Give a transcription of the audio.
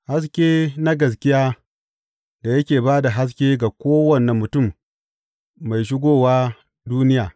Haske na gaskiya da yake ba da haske ga kowane mutum mai shigowa duniya.